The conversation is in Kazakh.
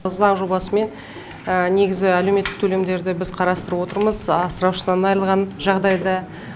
заң жобасымен негізі әлеуметтік төлемдерді біз қарастырып отырмыз асыраушысынан айырылған жағдайда